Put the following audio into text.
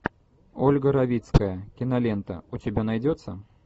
ольга равицкая кинолента у тебя найдется